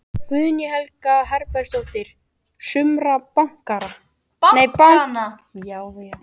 Guðný Helga Herbertsdóttir: Sumra bankanna?